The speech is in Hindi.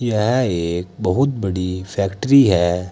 यह एक बहुत बड़ी फैक्ट्री है।